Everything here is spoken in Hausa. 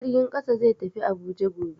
Jirgin kasa zai tafi Abuja gobe.